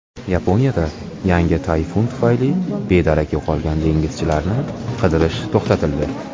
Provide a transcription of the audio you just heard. Yaponiyada yangi tayfun tufayli bedarak yo‘qolgan dengizchilarni qidirish to‘xtatildi.